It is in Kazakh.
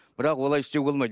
бірақ олай істеуге болмайды